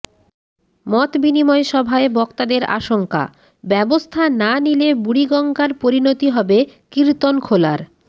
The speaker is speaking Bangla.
মতবিনিময় সভায় বক্তাদের আশঙ্কা ব্যবস্থা না নিলে বুড়িগঙ্গার পরিণতি হবে কীর্তনখোলার